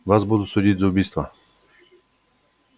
вас будут судить за убийство